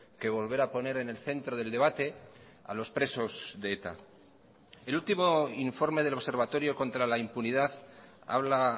que volver a poner en el centro del debate a los presos de eta el último informe del observatorio contra la impunidad habla